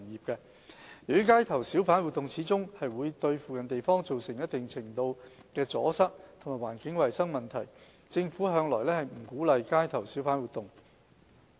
由於街頭小販活動始終會對附近地方造成一定程度的阻塞和環境衞生問題，政府向來不鼓勵街頭小販活動。